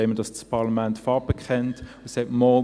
Dann wollen wir, dass das Parlament Farbe bekennt und sagt: «